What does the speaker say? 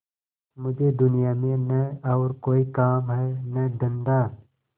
मुझे दुनिया में न और कोई काम है न धंधा